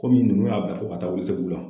Kɔmi ninnu y'a bila ko ka taa Welesebugu la